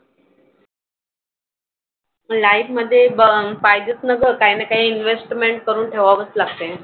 Life मधे पाहिजेच ना ग काही ना काही investment करून ठेवावंच लागतंय.